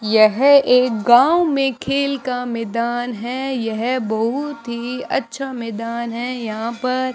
यह एक गांव में खेल का मैदान है यह बहुत ही अच्छा मैदान है यहां पर--